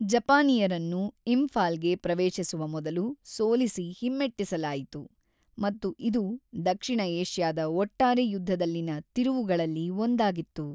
ಜಪಾನಿಯರನ್ನು ಇಂಫಾಲ್‌ಗೆ ಪ್ರವೇಶಿಸುವ ಮೊದಲು ಸೋಲಿಸಿ ಹಿಮ್ಮೆಟ್ಟಿಸಲಾಯಿತು ಮತ್ತು ಇದು ದಕ್ಷಿಣ ಏಷ್ಯಾದ ಒಟ್ಟಾರೆ ಯುದ್ಧದಲ್ಲಿನ ತಿರುವುಗಳಲ್ಲಿ ಒಂದಾಗಿತ್ತು.